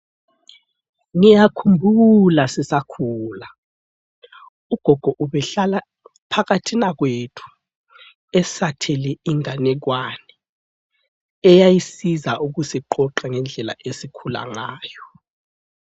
Ngiyakhumbula sisakhula! Ugogo ubehlala phakathina kwethu esathele inganekwane, eyayisiza ukusiqoqa ngendlela esikhula ngayo.